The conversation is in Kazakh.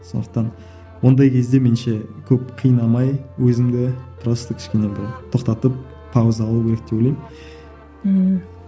сондықтан ондай кезде меніңше көп қинамай өзімді просто кішкене бір тоқтатып пауза алу керек деп ойлаймын ммм